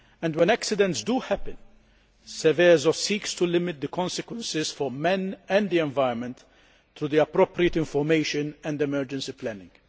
When accidents do happen, Seveso seeks to limit the consequences for man and the environment, through appropriate information and emergency planning.